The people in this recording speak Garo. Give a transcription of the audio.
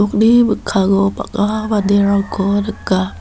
uni mikkango bang·a manderangko nika.